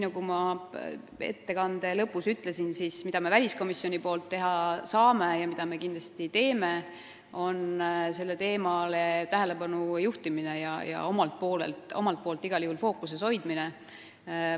Nagu ma oma ettekande lõpus ütlesin, meie saame väliskomisjonis teha seda, et juhime sellele teemale tähelepanu, hoiame seda fookuses.